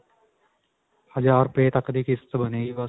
ਹਜਾਰ ਰੁਪਏ ਤੱਕ ਦੀ ਕਿਸ਼ਤ ਬਣੇਗੀ ਬਸ.